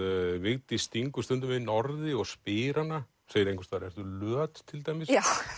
Vigdís stingur stundum inn orði og spyr hana segir einhvers staðar ertu löt til dæmis